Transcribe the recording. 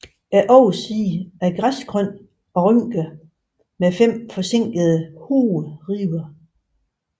Oversiden er græsgrøn og rynket med fem forsænkede hovedribber